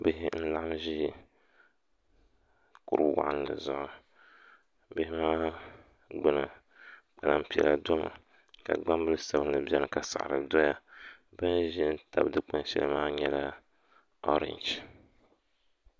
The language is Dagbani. bihi n-laɣim ʒi kur' waɣinli zuɣu bihi maa gbuni kpalan' piɛla dɔmi ka gbambila sabilinli beni ka saɣiri dɔya bɛ ni ʒi n-tabi dikpuni shɛli maa nyɛla ɔrɛnji